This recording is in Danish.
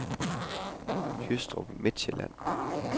Jystrup Midtsjælland